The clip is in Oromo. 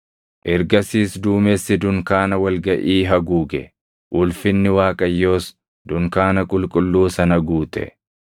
Ergasiis duumessi dunkaana wal gaʼii haguuge; ulfinni Waaqayyoos dunkaana qulqulluu sana guute.